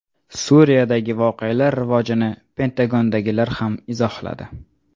Suriyadagi voqealar rivojini Pentagondagilar ham izohladi.